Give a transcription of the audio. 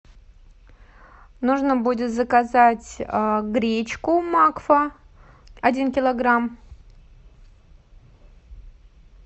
нужно будет заказать гречку макфа один килограмм